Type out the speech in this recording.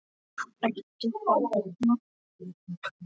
Ertu þarna?